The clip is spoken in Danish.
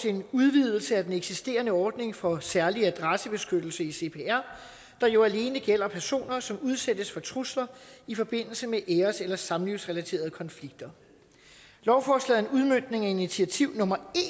en udvidelse af den eksisterende ordning for særlig adressebeskyttelse i cpr der jo alene gælder personer som udsættes for trusler i forbindelse med æres eller samlivsrelaterede konflikter lovforslaget er en udmøntning af initiativ nummer